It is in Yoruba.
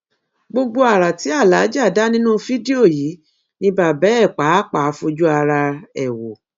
gbogbo ara tí aláàjà dá nínú fídíò yìí ni bàbá ẹ pàápàá fojú ara ẹ wò